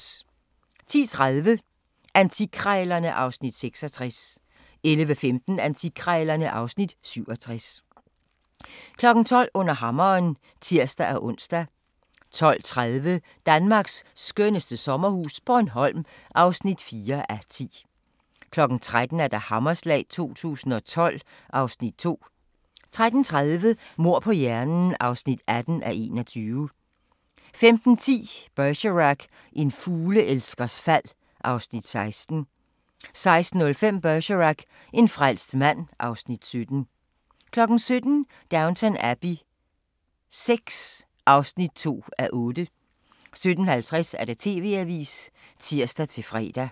10:30: Antikkrejlerne (Afs. 66) 11:15: Antikkrejlerne (Afs. 67) 12:00: Under hammeren (tir-ons) 12:30: Danmarks skønneste sommerhus - Bornholm (4:10) 13:00: Hammerslag 2012 (Afs. 2) 13:30: Mord på hjernen (18:21) 15:10: Bergerac: En fugleelskers fald (Afs. 16) 16:05: Bergerac: En frelst mand (Afs. 17) 17:00: Downton Abbey VI (2:8) 17:50: TV-avisen (tir-fre)